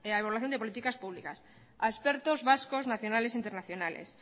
evaluación de políticas públicas a expertos vascos nacionales e internacionales